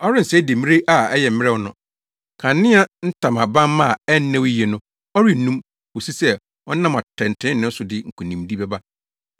Ɔrensɛe demmire a ɛyɛ mmerɛw no. Kanea ntamabamma a ɛnnɛw yiye no, ɔrennum; kosi sɛ ɔnam atɛntrenee so de nkonimdi bɛba.